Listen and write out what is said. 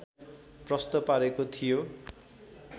प्रष्ट पारेको थियो